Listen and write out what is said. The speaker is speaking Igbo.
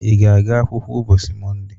Ị ga-aga akwụkwọ ụbọchị Mọnde?